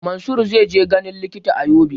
Mansur zai je ganin likita a Yobe